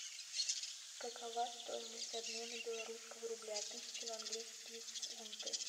какова стоимость обмена белорусского рубля тысяча на английские фунты